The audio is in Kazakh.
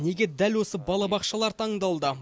неге дәл осы балабақшалар таңдалды